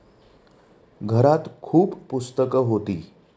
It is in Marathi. घरात खूप पुस्तकं होती.